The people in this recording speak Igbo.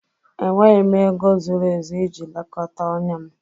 Enweghị m ego zuru ezu iji lekọta ọnya m